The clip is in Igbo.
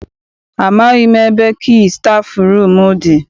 Amaghị m ebe kii stafụrum dị.